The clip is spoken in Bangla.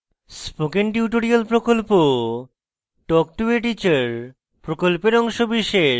spoken tutorial প্রকল্প talk to a teacher প্রকল্পের অংশবিশেষ